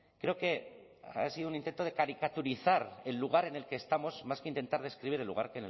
creo que ha sido un intento de caricaturizar el lugar en el que estamos más que intentar describir el lugar